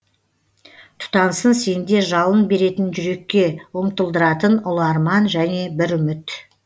тұтансын сенде жалын беретін жүрекке ұмтылдыратын ұлы арман және бір үміт